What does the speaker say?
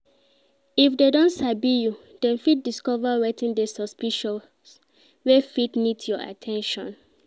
If dem don sabi you dem fit discover wetin de suspicious wey fit need your at ten tion